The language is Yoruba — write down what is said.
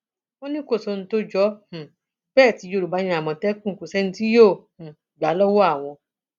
wọn ní kò sí ohun tó jọ um bẹẹ tí yorùbá ní àmọtẹkùn kò sẹni tí yóò um gbà á lọwọ àwọn